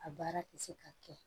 A baara tɛ se ka kɛ